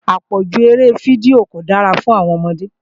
Àpọ̀jù eré fídíò kò dára fún àwọn ọmọdé